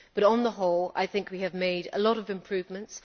But on the whole I think we have made a lot of improvements.